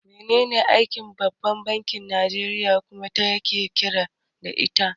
Menene aikin babban bankin Nijeriya kuma, wa yake riƙe da ita?